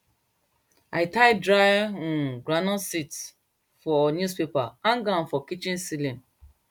i tie dry um groundnut seeds for newspaper hang am for kitchen celling